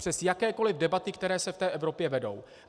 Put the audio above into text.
Přes jakékoli debaty, které se v té Evropě vedou.